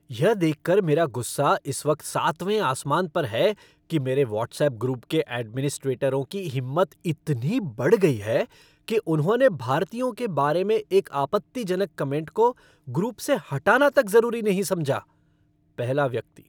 यह देखकर मेरा गुस्सा इस वक्त सातवें आसमान पर है कि मेरे वॉट्सएप ग्रुप के एडमिनिस्ट्रेटरों की हिम्मत इतनी बढ़ गई है कि उन्होंने भारतीयों के बारे में एक आपत्तिजनक कमेंट को ग्रुप से हटाना तक ज़रूरी नहीं समझा। पहला व्यक्ति